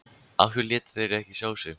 Af hverju létu þeir ekki sjá sig?